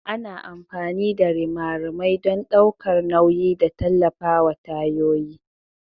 Ana amfani da rimarimai don ɗaukar nauyi da tallafawa tayoyin.